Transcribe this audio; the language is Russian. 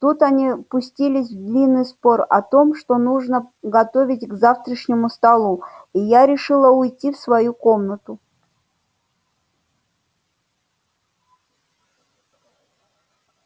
тут они пустились в длинный спор о том что нужно готовить к завтрашнему столу и я решила уйти в свою комнату